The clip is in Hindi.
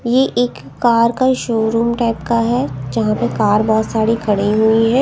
ये एक कार का शोरूम टाइप का है जहां पे कार बहोत सारी खड़ी हुई हैं।